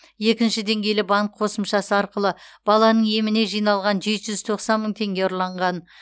екінші деңгейлі банк қосымшасы арқылы баланың еміне жиналған жеті жүз тоқсан мың теңге ұрланған